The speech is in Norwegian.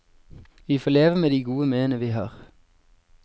Vi får leve med de gode minnene vi har.